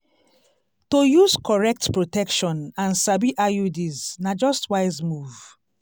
to use correct protection and sabi iuds na just wise move.